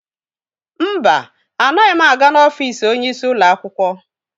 Mba, anaghị m aga n'ofiisi onyeisi ụlọ akwụkwọ.